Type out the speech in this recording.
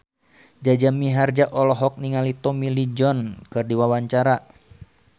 Jaja Mihardja olohok ningali Tommy Lee Jones keur diwawancara